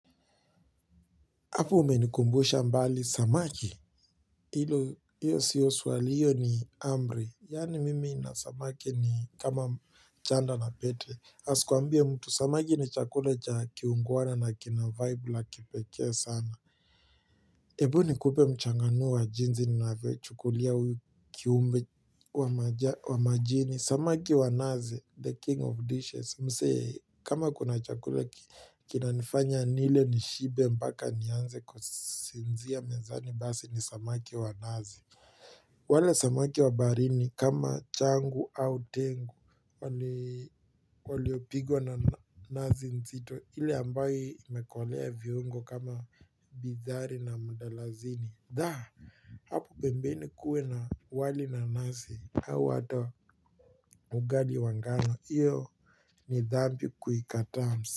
Hapo umenikumbusha mbali, samaki. Hilo, hiyo sio swali, hiyo ni amri. Yaani mimi na samaki ni kama chanda na pete. Asikuambie mtu, samaki ni chakula cha kiungwana na kina vaibu la kipekee sana. Hebu nikupe mchanganuo wa jinsi, ninavyochukulia uyu kiumbe wa majini. Samaki wa nazi the king of dishes. Msee kama kuna chakula kina nifanya nile nishibe mpaka nianze kusinzia mezani basi ni samaki wa nazi wale samaki wa baharini kama changu au tengu waliopigwa na nazi nzito ile ambayo imekolea viungo kama bidhari na mudalasini Dah, hapo pembeni kuwe na wali na nazi au hata ugali wa ngano, hiyo ni dhambi kuikataa.